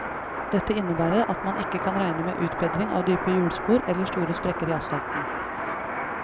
Dette innebærer at man ikke kan regne med utbedring av dype hjulspor eller store sprekker i asfalten.